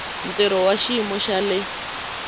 ntirho wa xiyimo xa le